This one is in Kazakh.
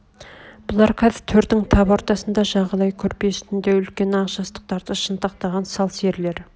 бұлар қазір төрдің тап ортасында жағалай көрпе үстінде үлкен ақ жастықтарды шынтақтаған сал серлер